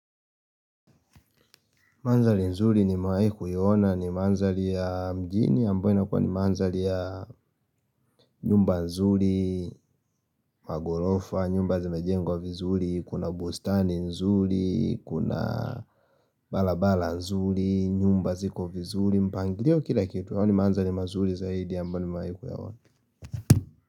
Mandhari nzuri nimewahi kuiona ni mandhari ya mjini ambayo inakuwa ni mandhari ya nyumba nzuri, magorofa, nyumba zimejengwa vizuri, kuna bustani nzuri, kuna barabara nzuri, nyumba ziko vizuri, mpangilio kila kitu yaani mandhari mazuri zaidi ambayo nimewahi kuyaona.